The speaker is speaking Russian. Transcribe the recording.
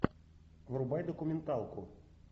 врубай документалку